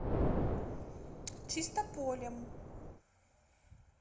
чистополем